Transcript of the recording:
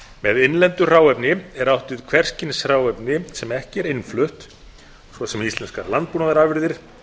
með innlendu hráefni er átt við hvers kyns hráefni sem ekki er innflutt svo sem íslenskar landbúnaðarafurðir